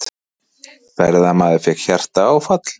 Ferðamaður fékk hjartaáfall